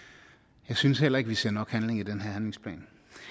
synes jeg heller ikke vi ser nok handling i den her